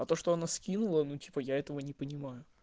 а то что она скинула ну типа я этого не понимаю